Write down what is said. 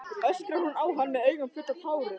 öskrar hún á hann með augun full af tárum.